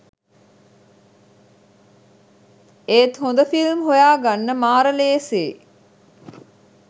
ඒත් හොඳ ෆිල්ම් හොයාගන්න මාර ලේසියි